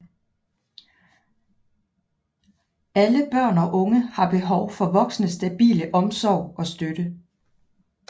Alle børn og unge har behov for voksnes stabile omsorg og støtte